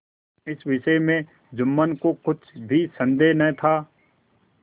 इस विषय में जुम्मन को कुछ भी संदेह न था